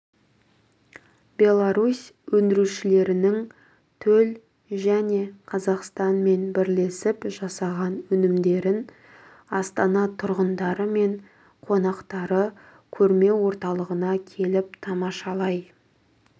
беларусь өндірушілерілерінің төл және қазақстанмен бірлесіп жасаған өнімдерін астана тұрғындары мен қонақтары көрме орталығына келіп тамашалай